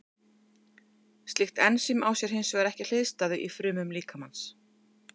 Slíkt ensím á sér hins vegar ekki hliðstæðu í frumum líkamans.